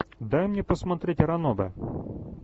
дай мне посмотреть ранобе